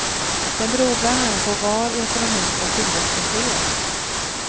Den beror bland annat på var i ekonomin som tillväxten sker.